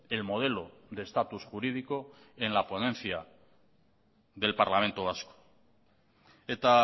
el modelo de estatus jurídico en la ponencia del parlamento vasco eta